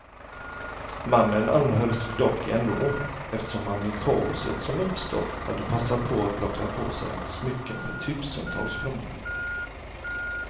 Mannen anhölls dock ändå, eftersom han i kaoset som uppstått hade passat på att plocka på sig smycken för tusentals kronor.